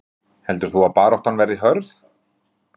Kristín Ýr Gunnarsdóttir: Heldur þú að baráttan verði hörð?